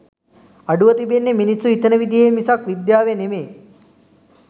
අඩුව තිබෙන්නෙ මිනිස්සු හිතන විදිහේ මිසක් විද්‍යාවේ නෙමේ